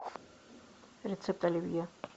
рецепт оливье